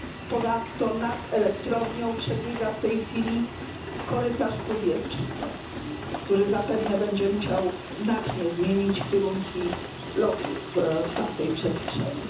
Ponadto nad elektrownią przebiega w tej chwili korytarz powietrzny, który zapewne będzie musiał znacznie zmienić kierunki lotów w tamtej przestrzeni.